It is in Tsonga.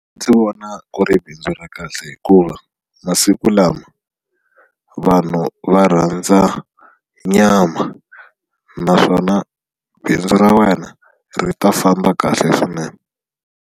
Ndzi vona ku ri bindzu ra kahle hikuva masiku lama vanhu va rhandza nyama naswona bindzu ra wena ri ta famba kahle swinene.